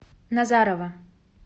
назарово